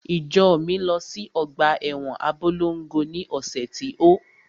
Ìjọ mi lọ sí ọgbà ẹwọn Abólongo ni ọ̀sẹ̀ tí ó.